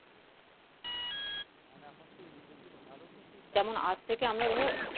যেমন আজ থেকে আমরা ধরো